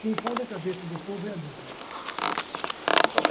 Quem faz a cabeça do povo é a mídia.